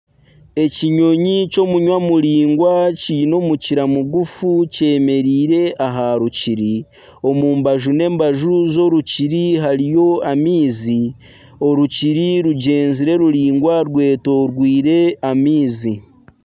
Ekinyonyi ky'omunwa muringwa kiine omukira mugufu kyemereire aha rukiri. Omu mbaju n'embaju z'orukiri hariyo amaizi. Orukiri rugyenzire ruringwa rwetorweire amaizi.